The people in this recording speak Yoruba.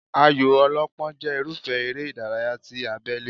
Ayò ọlọ́pọ́n jẹ́ irúfẹ́ eré ìdárayá ti abélé